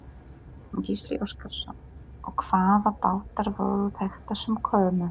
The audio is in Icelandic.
Gísli Óskarsson: Og hvaða bátar voru þetta sem komu?